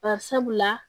Bari sabula